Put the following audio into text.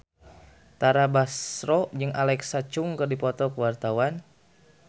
Tara Basro jeung Alexa Chung keur dipoto ku wartawan